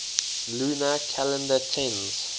lunar calendar tends